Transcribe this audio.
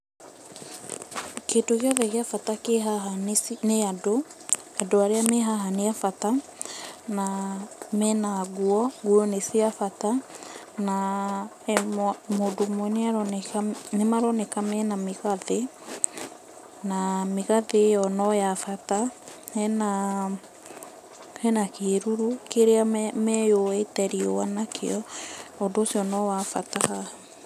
Kĩndũ gĩothe gĩa bata kĩ haha nĩ andũ, andũ arĩa me haha nĩ a bata, na me na nguo, nguo nĩ cia bata, na mũndũ ũmwe ĩ aroneka, nĩ maroneka me na mĩgathĩ, na mĩgathĩ ĩyo no ya bata. He na kĩruru kĩria meyũĩte riũa nakĩo, na ũndũ ũcio no wa bata haha.